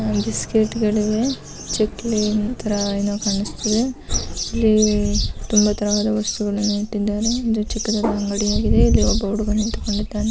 Biscuit ಗಳು ಇದೆ ಚಕ್ಲಿ ಇದೆ ಇಲ್ಲಿ ತುಂಬ ತರ ವಾದ ವಸ್ತುಗಳು ಇಟ್ಟಿದ್ದಾರೆ ಇದು ಚಿಕ್ಕ ಅಂಗಡಿ ಒಬ್ಬ ಹುಡುಗ ನಿಂತಿದ್ದಾನೆ.